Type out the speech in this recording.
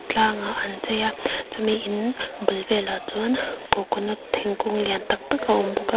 tlangah an chei a chumi in bul velah chuan coconut thingkung lian tak tak a awm bawk a--